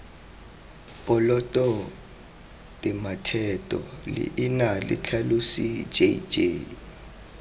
poloto tematheto leina letlhalosi jj